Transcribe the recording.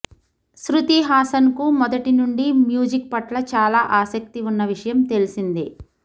శృతి హాసన్ కు మొదటినుండి మ్యూజిక్ పట్ల చాలా ఆసక్తి ఉన్న విషయం తెలిసిందే